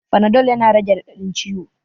Fanadol yana rage raɗaɗin ciwo